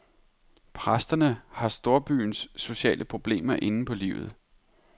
Præsterne har storbyens sociale problemer inde på livet.